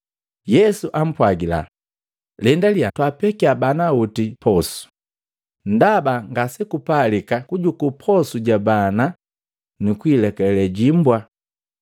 Yesu ampwagila, “Lendalya twaapekiya bana oti posu, ndaba ngasape kujukuu posu ja bana nukulekale jimbwa.”